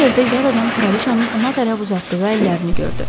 Bu yerdə yad adam kraliçanın ona tərəf uzatdığı əllərini gördü.